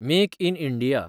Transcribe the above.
make in India